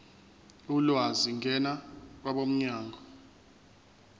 ulwazi ngena kwabomnyango